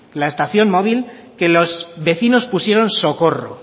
la estación móvil que los vecinos pusieron socorro